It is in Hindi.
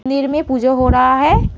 मंदिर में पूजा हो रहा है।